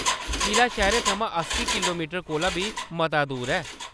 किला शैह्‌रै थमां अस्सीं किलोमीटर कोला बी मता दूर ऐ।